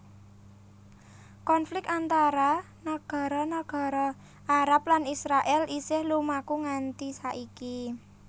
Konflik antara nagara nagara Arab lan Israèl isih lumaku nganti saiki